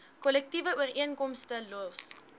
kollektiewe ooreenkomste los